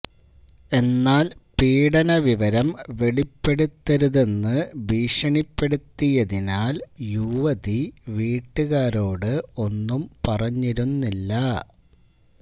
എന്നാല് പീഡനവിവരം വെളിപ്പെടുത്തരുതെന്ന് ഭീഷണിപ്പെടുത്തിയതിനാല് യുവതി വീട്ടുകാരോട് ഒന്നും പറഞ്ഞിരുന്നില്ല